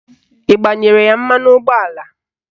Ị gbanyere ya mmanụ ụgbọala?